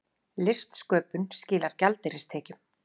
Listsköpun skilar gjaldeyristekjum